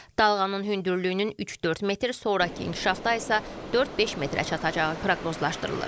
Dalğanın hündürlüyünün 3-4 metr, sonrakı inkişafda isə 4-5 metrə çatacağı proqnozlaşdırılır.